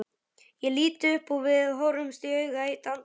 Ég lít upp og við horfumst í augu eitt andartak.